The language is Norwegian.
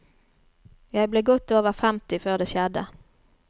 Jeg ble godt over femti før det skjedde.